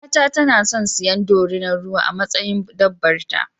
Yar'uwata tana son siyan dorinar ruwa a matsayin dabbar ta.